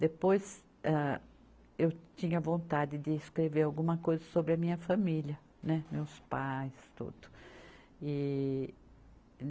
Depois, ah, eu tinha vontade de escrever alguma coisa sobre a minha família, né, meus pais, tudo. e